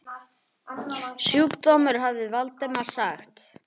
Sjúkdómur hafði Valdimar sagt.